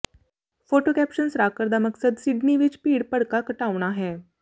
photo caption ਸਰਾਕਰ ਦਾ ਮਕਸਦ ਸਿਡਨੀ ਵਿੱਚ ਭੀੜ ਭੜਕਾ ਘਟਾਉਣਾ ਹੈ